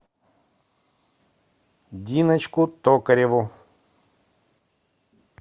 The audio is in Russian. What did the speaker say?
диночку токареву